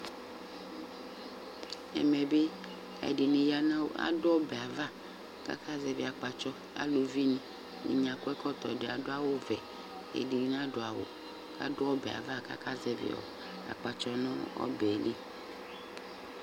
ɛmɛ bi ɛdini yanʋ adʋ ɔbɛ aɣa kʋ aka zɛvi akpatsɔ, alʋvi ni, ɛdini adʋ ɛkɔtɔ, ɛdini adʋ awʋ ɔvɛ, ɛdi nadʋ awʋ, adʋ ɔbɛ aɣa kʋ aka zɛvi akpatsɔɛ nʋ ɔbɛli